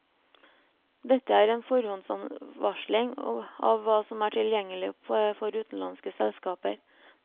Dette er en forhåndsvarsling av hva som er tilgjengelig for utenlandske selskaper.